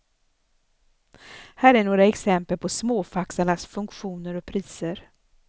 Här är några exempel på småfaxarnas funktioner och priser.